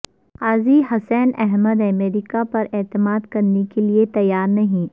قاضی حسین احمد امریکہ پر اعتماد کرنے کے لیے تیار نہیں